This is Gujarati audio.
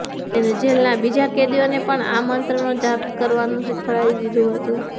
તેને જેલના બીજા કેદીઓને પણ આ મંત્રનો જાપ કરવાનું શિખવાડી દીધુ હતું